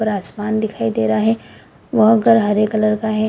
और आसमान दिखाई दे रहा है वह घर हरे कलर का है।